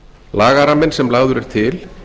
lagaramminn sem lagður er til